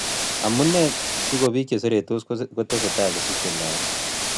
Amunee sigoo biik cheshorortos kotesetai kosiche logok